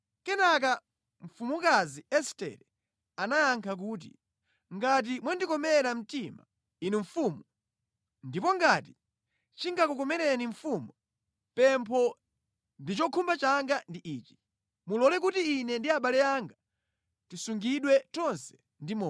Kenaka mfumukazi Estere anayankha kuti, “Ngati mwandikomera mtima, inu mfumu, ndipo ngati chingakukomereni mfumu, pempho ndi chokhumba changa ndi ichi, mulole kuti ine ndi abale anga tisungidwe tonse ndi moyo.